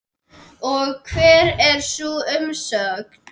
Og hver er sú umsögn?